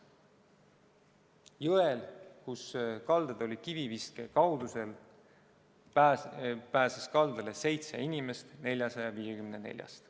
Jõelt, kus kaldad olid kiviviske kaugusel, pääses kaldale seitse inimest 454-st.